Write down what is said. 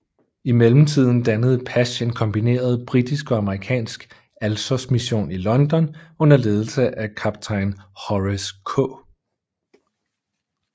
I mellemtiden dannede Pash en kombineret britisk og amerikansk Alsosmission i London under ledelse af kaptajn Horace K